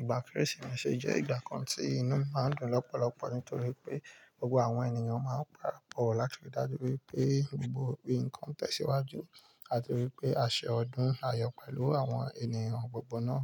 ìgbà Kérésìmesì jẹ́ ìgbà kan tí inú mi máa ń dùn lọ́pọ̀lọpọ̀ nítorí pé gbogbo àwọn ènìyàn máa ń parapọ̀ láti ríi dájú wípé gbogbo nnkan tẹ̀síwájú àti wípé a ṣe ọdún ayọ̀ pẹ̀lú àwọn ènìyàn gbogbo náà.